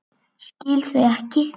Skil þau ekki.